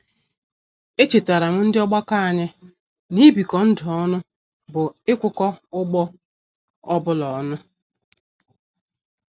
Echetaram ndị ọgbakọ anyị n'ibiko ndụ ọnụ bụ ikwuko ụgbọ ọbụla ọnụ